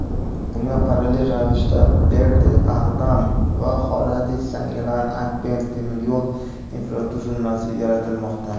Bunga parallel ravishda Berde-Ag‘dam va Horadiz-Zangilan-Agbend temir yo‘l infratuzilmasi yaratilmoqda.